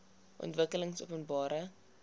ontwikkelingopenbare